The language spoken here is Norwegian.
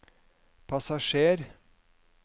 passasjer